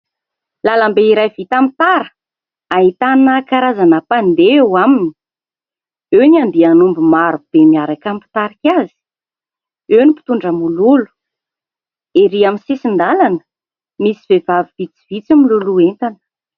Lalam-be iray vita amin'ny tara, ahitana karazana mpandeha eo aminy. Eo ny andian'omby maro be miaraka amin'ny mpitarika azy, eo ny mpitondra mololo. Erỳ amin'ny sisin-dalana misy vehivavy vitsivitsy miloloha entana.